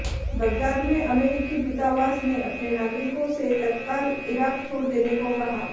Baghdad में अमेरिकी दूतावास ने अपने नागरिकों से तत्काल ईराक छोड़ देने को कहा